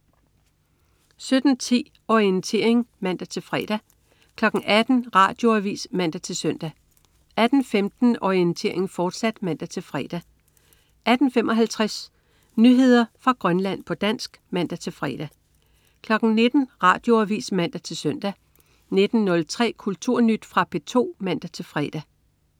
17.10 Orientering (man-fre) 18.00 Radioavis (man-søn) 18.15 Orientering, fortsat (man-fre) 18.55 Nyheder fra Grønland, på dansk (man-fre) 19.00 Radioavis (man-søn) 19.03 Kulturnyt. Fra P2 (man-fre)